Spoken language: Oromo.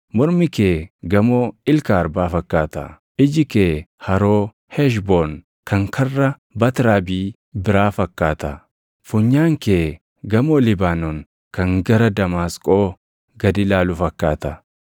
Mormi kee gamoo ilka arbaa fakkaata. Iji kee haroo Heshboon kan karra Baatrabii biraa fakkaata. Funyaan kee gamoo Libaanoon kan gara Damaasqoo gad ilaalu fakkaata.